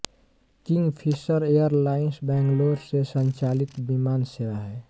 Kingfisher Airlines Bangalore से संचालित विमान सेवा है